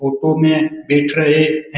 Auto में बैठ रहे है ।